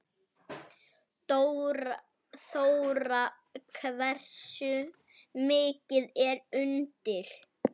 Þóra: Hversu mikið er undir?